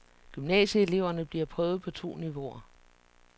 Gymnasieeleverne bliver prøvet på to niveauer.